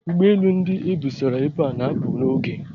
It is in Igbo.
Ụgbọ elu ndị e busara ebe a na-apụ n'oge.